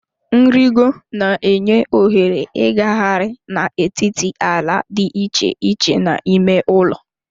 Nrịgo na-enye ohere ịgagharị n'etiti ala dị iche iche n'ime ụlọ